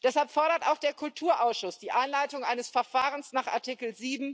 Deshalb fordert auch der Kulturausschuss die Einleitung eines Verfahrens nach Artikel